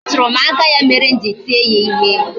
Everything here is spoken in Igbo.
Ọ tụrụ m aka ya mere m ji tie ya ihe